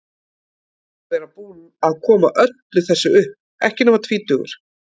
Að vera búinn að koma öllu þessu upp, ekki nema tvítugur.